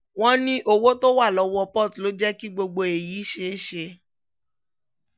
wọ́n ní owó tó wà lọ́wọ́ port ló jẹ́ kí gbogbo èyí ṣeé ṣe